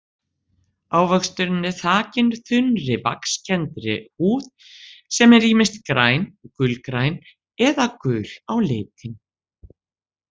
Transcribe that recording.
Ávöxturinn er þakinn þunnri vaxkenndri húð sem er ýmist græn, gul-græn eða gul á litinn.